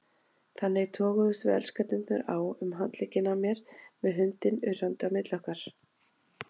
Þannig toguðumst við elskendurnir á um handlegginn á mér með hundinn urrandi á milli okkar.